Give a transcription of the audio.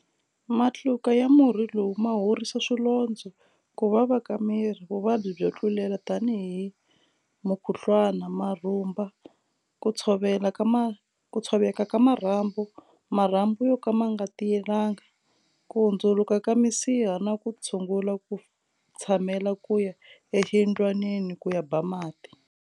Matluka ya murhi lowu ma horisa swilondzo, ku vava ka miri, vuvabyi byo tlulela tanihi mukhuhlwana, marhumba, ku tshoveka ka marhambu, marhambu yo ka ma nga tiyelanga, ku hundzuluka ka misiha na ku tshungula ku tshamela ku ya exiyindlwanini ku ya ba mati.